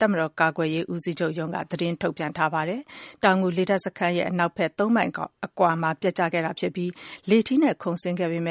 တပ်မတောာ် ကာကွယ်ရေး ဦးစီးချုပ်ရုံးက သတင်း ထုန်ပြန်ထားပါတယ်။ အပြည့်အစုံကိုတော့ ကိုကောင်းစံဟိန်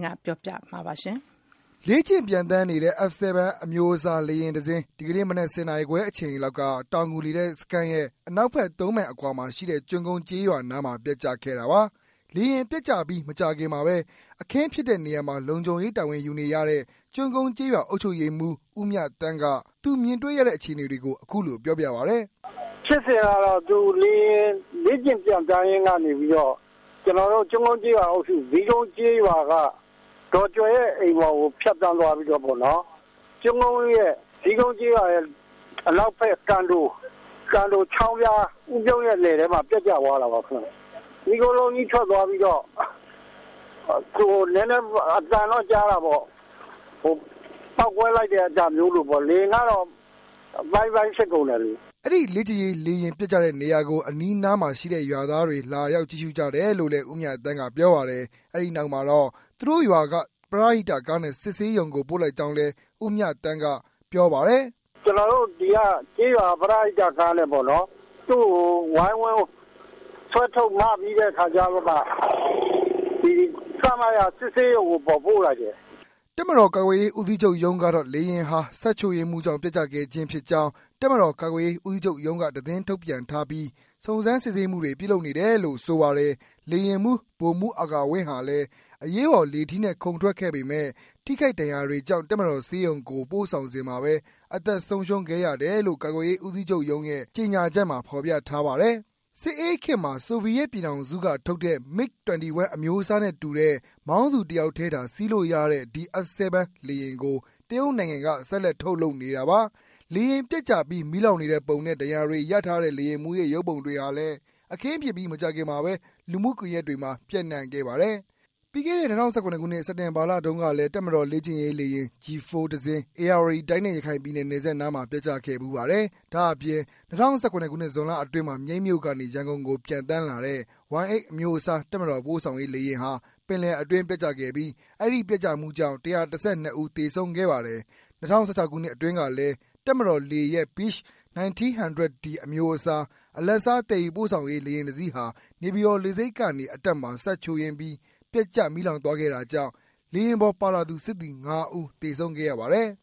းက ပြောပြ ပေးမှာ ဖြစ်ပါတယ်။ လေ့ကျင့် ပျံသန်းနေတဲ့ F-7 အမျိုးအစား လေယာဉ်တစင်း ဒီကနေ့မနက် ၁၀ နာရီခွဲ အချိန်လောက်က တောင်ငူ လေတပ်စခန်းရဲ့ အနောက်ဘက် မိုင်အကွာမှာရှိတဲ့ ကျွန်းကုန်း ကျေးရွာနားမှာ ပျက်ကျခဲ့တာပါ။ လေယာဉ်ပျက်ကျပြီး မကြာခင်မှာဘဲ အခင်းဖြစ်တဲ့နေရာမှာ လုံခြုံရေး တာဝန်ယူနေရတဲ့ ကျွန်းကုန်း ကျေးရွှာ အုပ်ချုပ်ရေးမှူး ဦးမြသန်းက သူမြင်တွေ့ရတဲ့ အခြေအနေတွေကို အခုလို ပြောပြပါတယ်။ " ဖြစ်စဉ်ကတော့ လေယာဉ်လေ့ကျင့် ပျံသန်းရင်းကနေပီးတော့ ကျနေ်ာတို့ ကျွန်းကုန်းကျေးရွာအုပ်စု ဇီးကုန်းကျေးရွာက ဒေါ်ကြွယ်ရဲ့အိမ်ပေါ်ကို ဖြတ်သန်းသွားပီးတော့ ဇီးကုန်ကျေးရွာရဲ့ အနောက်ဖက် ဦးပြုံးရဲ့ လယ်ထဲမှာ ပျက်ကျသွားခဲ့တာပါ။ မီးခိုးလုံးကြီး ထွက်လာပီးတော့ ပေါက်ကွဲသွားတဲ့ အသံတော့ကြားတာပေါ့ ၊လေယာဉ်ကတော့ အပိုင်း ပိုင်း ဖြစ်သွားတယ်။" အဲဒီ လေ့ကျင့်ရေး လေယာဉ် ပျက်ကျတဲ့နေရာကို အနီးနားမှာရှိတဲ့ ရွာသွားတွေလာရောက် ကြည့်ရှုကြတယ်လို့ ဦးမြသန်းက ပြောပါတယ်။ အဲဒီနောက်မှာတော့ သူတို့ရွာက ပရဟိတကားနဲ့ စစ်ဆေးရုံကို ပို့လိုက်ကြောင်းလည်း အုပ်ချုပ်ရေးမှူး ဦးမြသန်းက ပြောပါတယ်။ "ကျနော်တို့ ဒီကကျေးရွာက ပရဟိတကားနဲ့ပေါ့နော် သူ့ကို ဝိုင်းဝန်းဆွဲထုတ် မ ပီး စစ်ဆေးရုံကို ပို့လိုက်တယ် " တပ်မတော် ကာကွယ်ရေးဦးစီးချူပ် ရုံးကတော့ လေယာဉ်ဟာ စက်ချို့ယွင်းမှုကြောင့် ပျက်ကျခဲ့ခြင်း ဖြစ်ကြောင်း တပ်မတော် ကာကွယ်ရေးဦးစီးချုပ်ရုံးက သတင်းထုတ်ပြန်ထားပြီး စုံစမ်း စစ်ဆေးမှုတွေ ပြုလုပ်နေတယ်လို့ ဆိုပါတယ်။ လေယာဉ်မှူး ဗိုလ်မှူး အာကာဝင်းဟာလည်း အရေးပေါ် လေထီးနဲ့ ခုန်ထွက်ခဲ့ပေမဲ့ ထိခိုက် ဒဏ်ရာတွေကြောင့် တပ်မတော်ဆေးရုံကို ပို့ဆောင်စဉ်မှာဘဲ အသက် ဆုံးရှုံးခဲ့ရတယ်လို့ ကာကွယ်ရေး ဦးစီးချုပ်ရုံးရုံးရဲ့ ကြေငြာချက်မှာ ဖော်ပြထားပါတယ်။ စစ်အေးခေတ်မှာ ဆိုဗီယက်ပြည်ထောင်စုက ထုတ်တဲ့ MiG-21 အမျိုးအစားနဲ့တူတဲ့ မောင်းသူ တယောက်ထဲသာ စီးလို့ရတဲ့ ဒီ F-7 လေယာဉ်ကို တရုတ်နိုင်ငံက ဆက်လက် ထုတ်လုပ်နေတာပါ။ လေယာဉ်ပျက်ကျပြီး မီးလောင်နေတဲ့ပုံနဲ့ ဒဏ်ရာတွေ ရထားတဲ့ လေယာဉ်မှူးရဲ့ ရုပ်ပုံတွေဟာလည်း အခင်းဖြစ်ပြီး မကြာခင်မှာဘဲ လူမှုကွန်ယက်တွေမှာ ပြန့်နှံ့ခဲ့ပါတယ်။ ပြီးခဲ့တဲ့ ၂၀၁၇ ခုနစ် စက်တင်ဘာလ တုန်းကလည်း တပ်မတော် လေ့ကျင့်ရေး လေယာဉ် G-4 တစင်း ဧရာဝတီတိုင်းနဲ့ ရခိုင်ပြည်နယ် နယ်စပ်နားမှာ ပျက်ကျခဲ့ဖူးပါတယ်။ ဒါ့အပြင် ၂၀၁၇ ဇွန်လအတွင်းမှာ မြိတ်မြို့ကနေ ရန်ကုန်ကို ပျံသန်းလာတဲ့ Y-8 အမျိုးအစား တပ်မတော် ပို့ဆောင်ရေး လေယာဉ်ဟာ ပင်လယ်အတွင်း ပျက်ကျခဲ့ပြီး အဲဒီ ပျက်ကျမှုကြောင့် ၁၁၂ ဦး သေဆုံးခဲ့ပါတယ်။ ၂၀၁၆ ခုနစ်အတွင်းကလည်း တပ်မတော်လေရဲ့ Beech 1900 D အမျိုးအစား အလတ်စား သယ်ယူ ပို့ဆောင်ရေး လေယာဉ်တစီးဟာ နေပြည်တော် လေဆိပ်ကနေ အတက်မှာ စက်ချို့ယွင်းပြီး ပျက်ကျ မီးလောင်သွားခဲ့တာကြောင့် လေယာဉ်ပေါ် ပါလာသူ စစ်သည် ၅ ဦး သေဆုံးခဲ့ရပါတယ်။